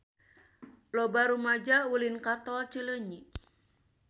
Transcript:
Loba rumaja ulin ka Tol Cileunyi